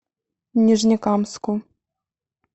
нижнекамску